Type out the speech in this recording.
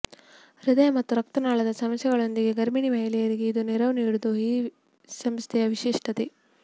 ಹೃದಯ ಮತ್ತು ರಕ್ತನಾಳದ ಸಮಸ್ಯೆಗಳೊಂದಿಗೆ ಗರ್ಭಿಣಿ ಮಹಿಳೆಯರಿಗೆ ಇದು ನೆರವು ನೀಡುವುದು ಈ ಸಂಸ್ಥೆಯ ವಿಶಿಷ್ಟತೆ